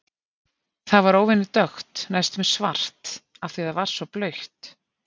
Það var óvenju dökkt, næstum svart, af því að það var svo blautt.